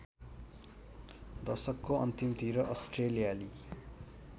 दशकको अन्तिमतिर अस्ट्रेलियाली